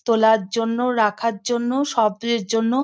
তোলার জন্য রাখার জন্য সবের জন্য।